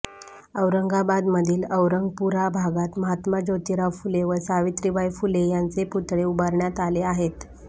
औरंगाबाद मधील औरंगपुरा भागात महात्मा जोतीराव फुले व सावित्रीबाई फुले यांचे पुतळे उभारण्यात आले आहेत